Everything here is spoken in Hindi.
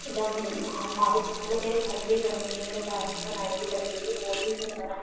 दम हमारे मतलब मेरे घर पे ही बनी हुई है। मेरे भाई ने बनाई थी लकड़ी की। बोहोत ही सुंदर है।